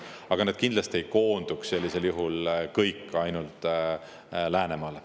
Aga need inimesed kindlasti ei koonduks sellisel juhul kõik ainult Läänemaale.